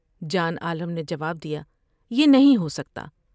جان عالم نے جواب دیا یہ نہیں ہوسکتا ۔